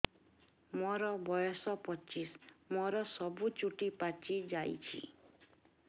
ମୋର ବୟସ ପଚିଶି ମୋର ସବୁ ଚୁଟି ପାଚି ଯାଇଛି